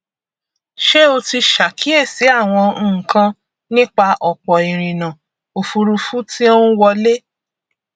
ṣé o ti ṣàkíyèsí àwọn nǹkan nípa ọpọ ìrìnà ofurufú tí ó ń wọlé